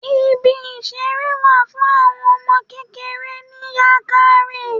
Ibi ìṣeré wà fún àwọn ọmọ kékeré ní Yankari.